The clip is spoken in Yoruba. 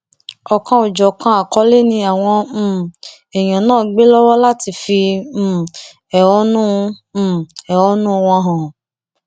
ọkanòjọkan àkọlé ni àwọn um èèyàn náà gbé lọwọ láti fi um ẹhónú um ẹhónú wọn hàn